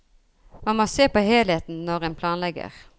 Man må se på helheten når en planlegger.